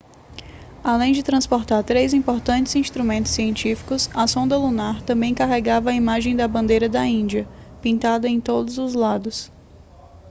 além de transportar três importantes instrumentos científicos a sonda lunar também carregava a imagem da bandeira da índia pintada em todos os lados